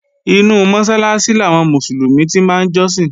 Inú Mọ́sálásí làwọn Mùsùlùmí ti máa ń jọ́sìn